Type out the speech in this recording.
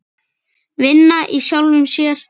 Vinna í sjálfum sér.